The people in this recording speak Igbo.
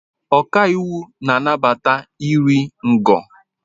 Ọkàiwu na-anabata iri ngo.